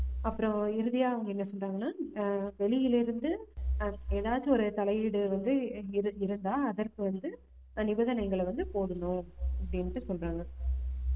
அப்புறம் இறுதியா அவங்க என்ன சொல்றாங்கன்னா ஆஹ் வெளியில இருந்து ஆஹ் ஏதாச்சு ஒரு தலையீடு வந்து இரு~ இருந்தா அதற்கு வந்து நிபந்தனைகளை வந்து போடணும் அப்படின்னுட்டு சொல்றாங்க